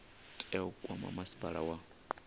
tea u kwama masipala wa